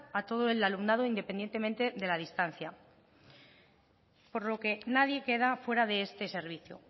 a todo el alumnado independientemente de la distancia por lo que nadie queda fuera de este servicio